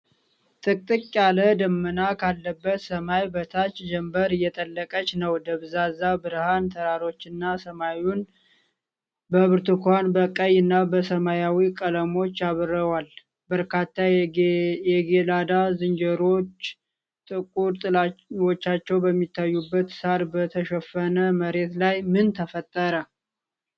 ጥቅጥቅ ያለ ደመና ካለበት ሰማይ በታች ጀምበር እየጠለቀች ነው። ደብዛዛ ብርሃን ተራሮችንና ሰማዩን በብርቱካን፣ በቀይ እና በሰማያዊ ቀለሞች ያበራዋል። በርካታ የጌላዳ ዝንጀሮዎች ጥቁር ጥላዎቻቸው በሚታዩበት ሳር በተሸፈነ መሬት ላይ ምን ተፈጠረ?